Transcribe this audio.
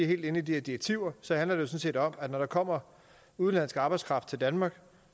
helt inde i de her direktiver sådan set om at når der kommer udenlandsk arbejdskraft til danmark